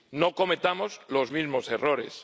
No cometamos los mismos errores.